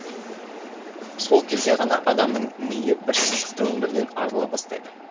сол кезде ғана адамның миы бірсызықты өмірден арыла бастайды